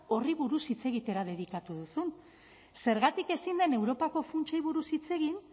horri buruz hitz egitera dedikatu duzun zergatik ezin den europako funtsei buruz hitz egin